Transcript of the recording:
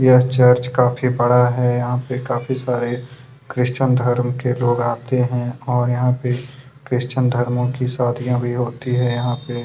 यह चर्च काफी बड़ा है यहाँ पे काफी सारे क्रिश्चियन धर्म के लोग आते है और यहाँ पे क्रिश्चियन धर्मो की शादियाँ भी होती है यहाँ पे--